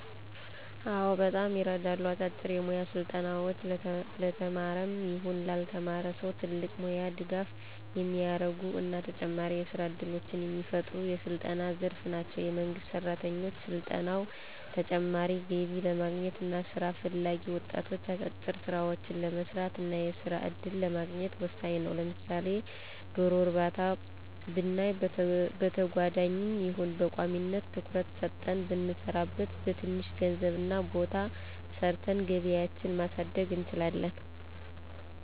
አዎ በጣም ይረዳሉ። አጫጭር የሞያ ስልጠናዎች ለተማረም ይሁን ላልተማረ ሰው ትልቅ ሙያዊ ድጋፍ የሚያረጉ እና ተጨማሪ የስራ እድሎችን የሚፈጥሩ የስልጠና ዘርፍ ናቸው። የመንግስት ሰራተኞች ሰልጥነው ተጨማሪ ገቢ ለማግኘት እና ስራ ፈላጊ ወጣቶች አጫጭር ስራዎችን ለመስራት እና የስራ እድልን ለማግኘት ወሳኝ ነው። ለምሳሌ ዶሮ እርባታ ብናይ በተጓዳኝም ይሁን በቋሚነት ትኩረት ሰጠን ብንሰራበት በትንሽ ገንዘብ እና ቦታ ሰርተን ገቢያችን ማሳደግ እንችላለን።